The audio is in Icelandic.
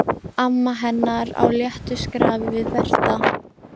Amma hennar á léttu skrafi við Berta.